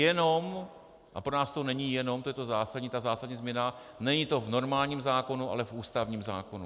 Jenom, a pro nás to není jenom, to je ta zásadní změna, není to v normálním zákonu, ale v ústavním zákonu.